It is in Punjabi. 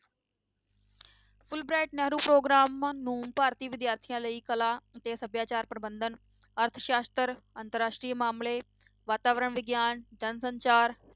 fulbright ਨਹਿਰੂ ਪ੍ਰੋਗਰਾਮ ਨੂੰ ਭਾਰਤੀ ਵਿਦਿਆਰਥੀਆਂ ਲਈ ਕਲਾ ਅਤੇ ਸਭਿਆਚਾਰ ਪ੍ਰਬੰਧਨ ਅਰਥਸਾਸ਼ਤਰ, ਅੰਤਰ ਰਾਸ਼ਟਰੀ ਮਾਮਲੇ, ਵਾਤਾਵਰਣ ਵਿਗਿਆਨ, ਜਨ ਸੰਚਾਰ